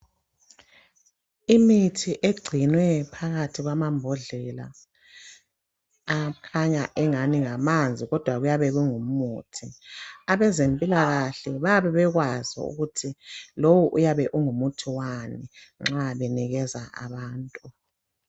Imithi egcinwe phakathi kwamambhondlela akhanya engani ngamanzi kodwa kuyabe kungu muthi. Abezempilakahle bayabe bekwazi ukuthi lowo uyabe ungumuthi wani nxa benikeza abantu.